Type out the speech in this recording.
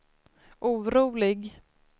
orolig